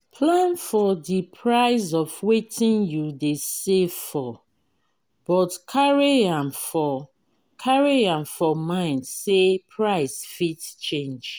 plan for di price of wetin you dey save for but carry am for carry am for mind sey price fit change